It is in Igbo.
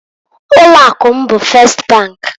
Ụlọ akụ m bụ Fest bank.